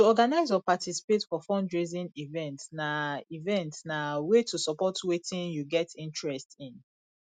to organize or participate for fundraising event na event na way to support wetin you get interest in